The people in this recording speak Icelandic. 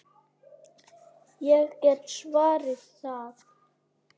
Ég get svarið það.